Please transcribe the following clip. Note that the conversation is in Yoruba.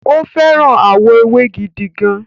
O fẹ́ràn àwọ̀ ewé gidigan